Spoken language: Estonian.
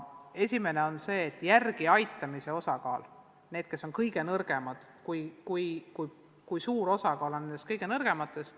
Esiteks, järeleaitamise osakaal: kui suure osakaalu moodustavad need, kes on kõige nõrgemad.